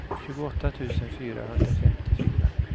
tjugoåtta tusen fyrahundrafemtiofyra